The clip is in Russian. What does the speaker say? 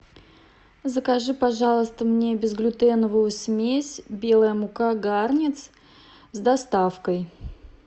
закажи пожалуйста мне безглютеновую смесь белая мука гарнец с доставкой